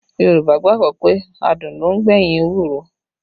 Yorùbá gbàgbọ́ pé adùn ló ń gbẹ̀yìn ewúro